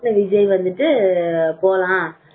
group ல விஜய் வந்துட்டு